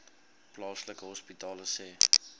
plaaslike hospitale sê